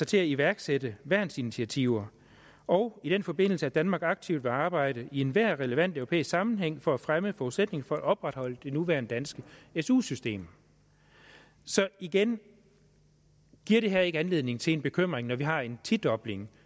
til at iværksætte værnsinitiativer og i den forbindelse at danmark aktivt vil arbejde i enhver relevant europæisk sammenhæng for at fremme forudsætningen for at opretholde det nuværende danske su system så igen giver det her ikke anledning til bekymring når vi har en tidobling